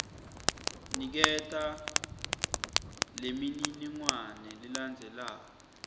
niketa lemininingwane lelandzelako